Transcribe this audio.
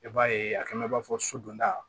I b'a ye a kɛnɛ b'a fɔ so don da